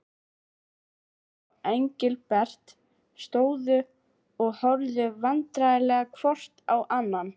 Stjáni og Engilbert stóðu og horfðu vandræðalegir hvor á annan.